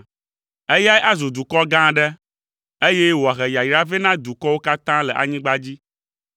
Eyae azu dukɔ gã aɖe, eye wòahe yayra vɛ na dukɔwo katã le anyigba dzi.